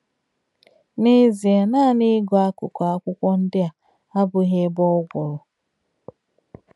N’ezie, naanị ịgụ akụkụ akwụkwọ ndị a abụghị ebe ọ gwụrụ..